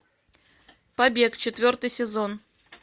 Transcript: побег четвертый сезон